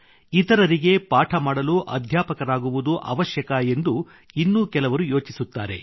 ಇತರರಿಗೆ ಪಾಠ ಮಾಡಲು ಅಧ್ಯಾಪಕರಾಗುವುದು ಅವಶ್ಯಕ ಎಂದು ಇನ್ನು ಕೆಲವರು ಯೋಚಿಸುತ್ತಾರೆ